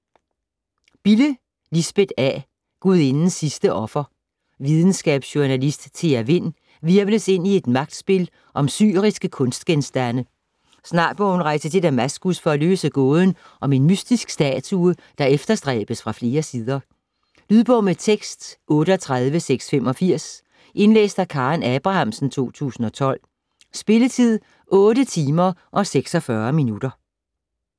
Bille, Lisbeth A.: Gudindens sidste offer Videnskabsjournalist Thea Vind hvirvles ind i et magtspil om syriske kunstgenstande. Snart må hun rejse til Damaskus for at løse gåden om en mystisk statue, der efterstræbes fra flere sider. Lydbog med tekst 38685 Indlæst af Karen Abrahamsen, 2012. Spilletid: 8 timer, 46 minutter.